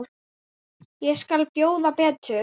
Ég skal bjóða betur.